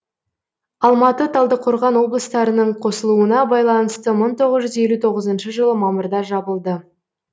алматы талдықорған облыстарының қосылуына байланысты мың тоғыз жүз елу тоғызыншы жылы мамырда жабылды